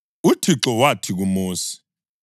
UThixo wathi kuMosi,